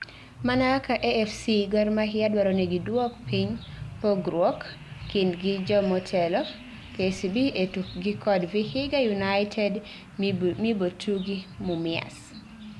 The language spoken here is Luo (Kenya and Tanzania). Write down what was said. Mana kaka AFC, Gor mahia dwaro ni gidwok piny pogruoke kindgi jomotelo KCB e tukgi kod Vihiga United mibotugi Mumias